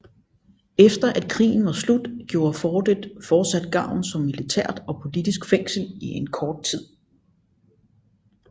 Efter at krigen var slut gjorde fortet fortsat gavn som militært og politisk fængsel i en kort tid